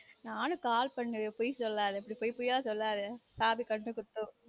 நானும் call பண்ணுவன் பொய் சொல்லாத இப்டி பொய் பொய்யா சொல்லாத சாமி கண்ண குத்தும்